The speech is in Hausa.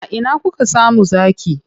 A ina kuka samu zaki?